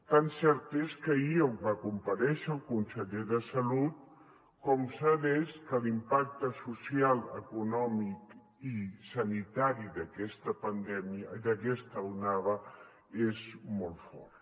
tan cert és que ahir va comparèixer el conseller de salut com cert és que l’impacte social econòmic i sanitari d’aquesta onada és molt fort